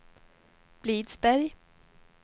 Blidsberg